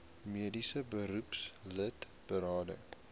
mediese beroepslid berading